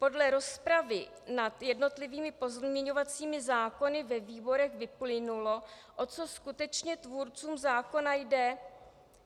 Podle rozpravy nad jednotlivými pozměňovacími návrhy ve výborech vyplynulo, o co skutečně tvůrcům zákona jde.